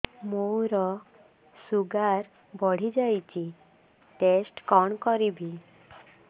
ମୋର ଶୁଗାର ବଢିଯାଇଛି ଟେଷ୍ଟ କଣ କରିବି